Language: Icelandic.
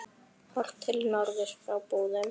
Horft til norðurs frá Búðum.